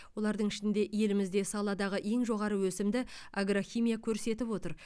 олардың ішінде елімізде саладағы ең жоғары өсімді агрохимия көрсетіп отыр